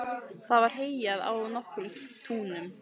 Það var heyjað á nokkrum túnum.